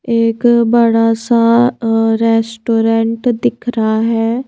एक बड़ासा रेस्टोरेंट दिख रहा हैं।